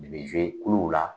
U b zuwe kuluw la.